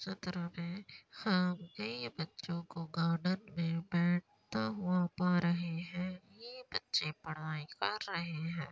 सामने बच्चों को गार्डन मे बैठता हुआ पा रहे है। ये बच्चे पढ़ाई कर रहे है।